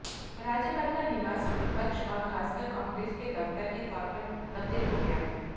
राज्यपाल का निवास विपक्ष और खासकर कांग्रेस के दफ्तर के तौर पर तबदील हो गया